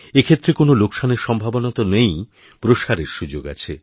এক্ষেত্রে কোনওলোকসানের সম্ভাবনা তো নেইই প্রসারের সুযোগ আছে